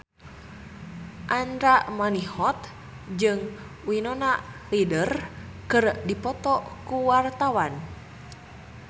Andra Manihot jeung Winona Ryder keur dipoto ku wartawan